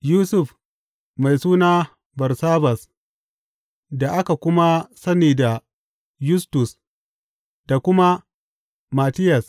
Yusuf mai suna Barsabbas da aka kuma sani da Yustus da kuma Mattiyas.